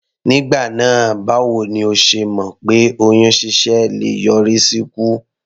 Nígbà náà báwo ni o ṣe mọ̀ pé oyún ṣíṣẹ́ le yọrí sí ikú?